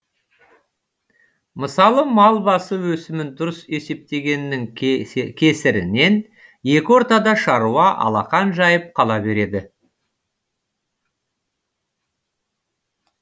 мысалы мал басы өсімін дұрыс есептемегеннің кесірінен екі ортада шаруа алақан жайып қала береді